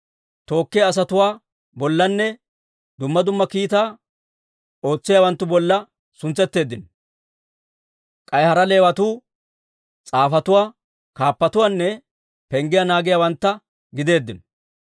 tookkiyaa asatuwaa bollanne dumma dumma kiitaa ootsiyaawanttu bolla suntsetteeddino. K'ay hara Leewatuu s'aafetuwaa, kaappatuwaanne penggiyaa naagiyaawantta gideeddino.